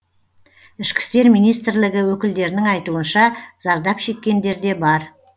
ішкі істер министрлігі өкілдерінің айтуынша зардап шеккендер де бар